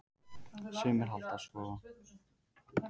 Sumir halda að svo geti verið.